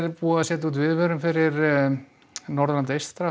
búið að setja viðvörun fyrir Norðurland eystra